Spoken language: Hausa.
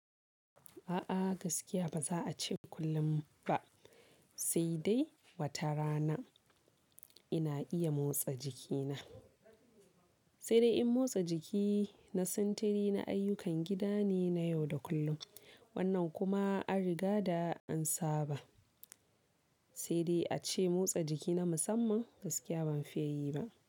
A'a gaskiya ba za a ce kullum ba, sai dai wata rana ina iya motsa jikina. Sai dai in motsa jiki na sintiri na ayyukan gida ne na yau da kullum. Wannan kuma an riga da an saba. Sai dai a ce motsa jiki na musamman gaskiya ban fiye yi ba.